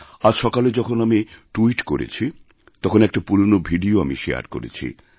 আজ সকালে যখন আমি ট্যুইটকরেছি তখন একটা পুরনো ভিডিও আমি শেয়ার করেছি